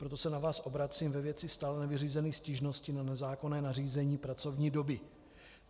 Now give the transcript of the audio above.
Proto se na vás obracím ve věci stále nevyřízených stížností na nezákonné nařízení pracovní doby.